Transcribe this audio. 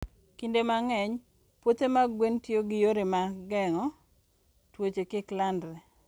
Kinde mang'eny, puothe mag gwen tiyo gi yore mag geng'o tuoche kik landre.